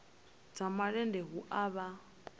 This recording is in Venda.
dza malende hu a vha